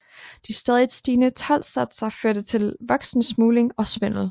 De stadigt stigende toldsatser førte til voksende smugling og svindel